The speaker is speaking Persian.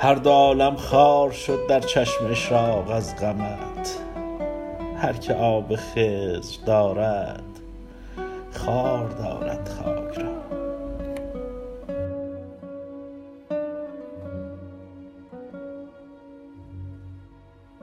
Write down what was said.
هر دو عالم خار شد در چشم اشراق از غمت هرکه آب خضر دارد خوار دارد خاک را